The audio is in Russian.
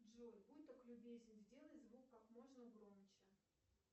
джой будь так любезен сделай звук как можно громче